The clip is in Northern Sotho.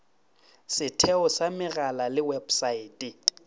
setheo sa megala le websaete